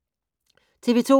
TV 2